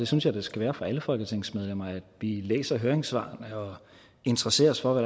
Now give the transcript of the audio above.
synes jeg det skal være for alle folketingsmedlemmer at vi læser høringssvarene og interesserer os for